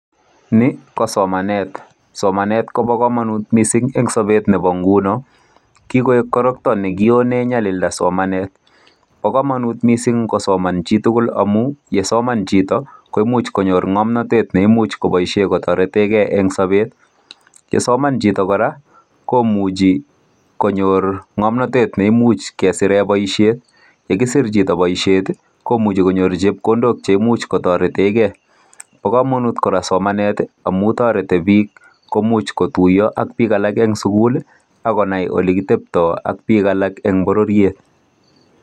Ni ko somanet. Somanet kobo kamanut mising eng sobet nebo nguno. Kikoek korokto nekionen nyalilda somanet. Bo kamanut mising ngosoman chitugul amu yesoman chito koimuch konyor ngomnatet neimuch koboisie kotoretegei eng sobet. Yesoman chito kora, komuchi konyor ngomnatet neimuch kesire boisiet. Yekisir chito boisiet komuche konyor chepkondok che imuch kotoreteke. Bo kamanut kora somanet amu toreti biik komuch kotuiya ak biik alak eng sugul ak konai olekitepto ak biik alak eng bororiet.